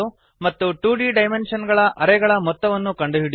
ಮತ್ತು two dimensional array ಗಳ ಮೊತ್ತವನ್ನು ಕಂಡುಹಿಡಿಯುವುದು